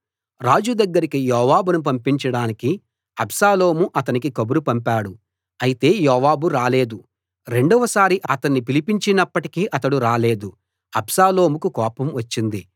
రాజు దగ్గరికి యోవాబును పంపించడానికి అబ్షాలోము అతనికి కబురు పంపాడు అయితే యోవాబు రాలేదు రెండవసారి అతణ్ణి పిలిపించినప్పటికీ అతడు రాలేదు అబ్షాలోముకు కోపం వచ్చింది